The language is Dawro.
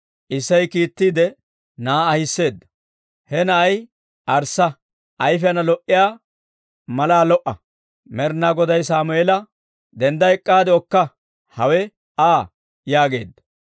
Isseyi kiittiide, na'aa ahiseedda; he na'ay arssa; ayfiyaana lo"iyaa malaa lo"a. Med'inaa Goday Sammeela, «Dendda ek'k'aade okka; hawe Aa» yaageedda.